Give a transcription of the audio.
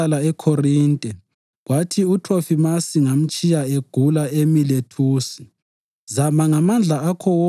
U-Erastusi wasala eKhorinte, kwathi uThrofimasi ngamtshiya egula eMilethusi.